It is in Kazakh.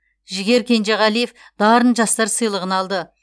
жігер кенжеғалиев дарын жастар сыйлығын алды